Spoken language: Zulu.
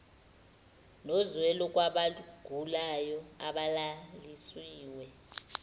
nozwelo kwabagulayo abalalisiwe